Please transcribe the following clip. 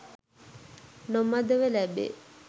නොමදව ලැබේ.